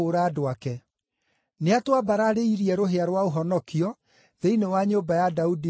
Nĩatwambararĩirie rũhĩa rwa ũhonokio thĩinĩ wa nyũmba ya Daudi, ndungata yake